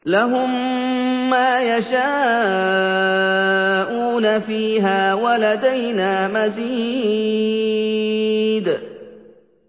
لَهُم مَّا يَشَاءُونَ فِيهَا وَلَدَيْنَا مَزِيدٌ